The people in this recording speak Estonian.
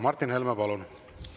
Martin Helme, palun!